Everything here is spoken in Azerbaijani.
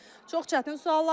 Çox çətin suallardır.